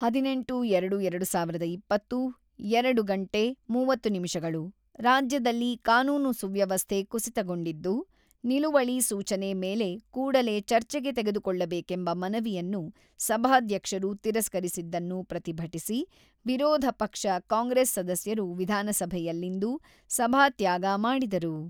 ಹದಿನೆಂಟು. ಎರಡು. ಎರಡು ಸಾವಿರದ ಇಪ್ಪತ್ತು ಎರಡು ಗಂಟೆ ಮೂವತ್ತು ನಿಮಿಷಗಳು ರಾಜ್ಯದಲ್ಲಿ ಕಾನೂನು ಸುವ್ಯವಸ್ಥೆ ಕುಸಿತಗೊಂಡಿದ್ದು ನಿಲುವಳಿ ಸೂಚನೆ ಮೇಲೆ ಕೂಡಲೇ ಚರ್ಚೆಗೆ ತೆಗೆದುಕೊಳ್ಳಬೇಕೆಂಬ ಮನವಿಯನ್ನು ಸಭಾಧ್ಯಕ್ಷರು ತಿರಸ್ಕರಿಸಿದ್ದನ್ನು ಪ್ರತಿಭಟಿಸಿ ವಿರೋಧ ಪಕ್ಷ ಕಾಂಗ್ರೆಸ್ ಸದಸ್ಯರು ವಿಧಾನಸಭೆಯಲ್ಲಿಂದು ಸಭಾತ್ಯಾಗ ಮಾಡಿದರು.